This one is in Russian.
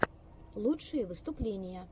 лучшие выступления